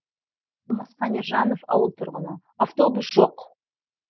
алмасхан ержанов ауыл тұрғыны автобус жоқ